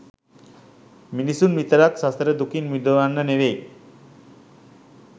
මිනිස්සුන් විතරක් සසර දුකින් මුදවන්න නෙවෙයි